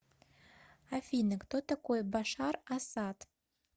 афина кто такой башар асад